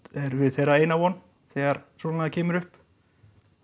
erum við þeirra eina von þegar svonalagað kemur upp